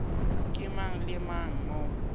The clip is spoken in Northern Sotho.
ke mang le mang mo